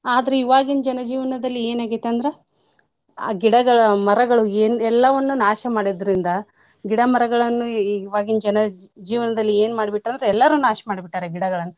ಆದ್ರ ಇವಾಗಿನ್ ಜನ ಜೀವನ್ದಲ್ಲಿ ಏನ್ ಆಗೇತ್ ಅಂದ್ರ ಆ ಗಿಡಗಳು ಮರಗಳು ಏನ್ ಎಲ್ಲವನ್ನೂ ನಾಶ ಮಾಡಿದ್ರಿಂದ ಗಿಡ ಮರಗಳನ್ನುಇವಾಗಿನ್ ಜನ ಜೀವನ್ದಲ್ಲಿ ಏನ್ ಮಾಡ್ಬಿಟ್ಟಾರಂದ್ರೆ~ ಎಲ್ಲಾರು ನಾಶ್ ಮಾಡ್ಬಿಟ್ಟಾರಿ ಗಿಡಗಳ್ನ್.